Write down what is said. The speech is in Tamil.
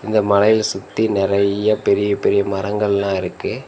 இந்த மலையா சுத்தி நறைய பெரிய பெரிய மரங்கெல்லா இருக்கு.